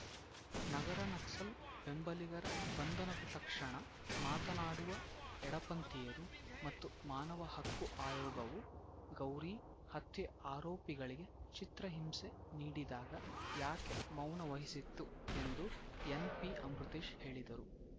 ನಗರ ನಕ್ಸಲ್‌ ಬೆಂಬಲಿಗರ ಬಂಧನದ ತಕ್ಷಣ ಮಾತನಾಡುವ ಎಡಪಂಥೀಯರು ಮತ್ತು ಮಾನವ ಹಕ್ಕು ಆಯೋಗವು ಗೌರಿ ಹತ್ಯೆ ಆರೋಪಿಗಳಿಗೆ ಚಿತ್ರಹಿಂಸೆ ನೀಡಿದಾಗ ಯಾಕೆ ಮೌನ ವಹಿಸಿತ್ತು ಎಂದು ಎನ್‌ಪಿ ಅಮೃತೇಶ್‌ ಹೇಳಿದರು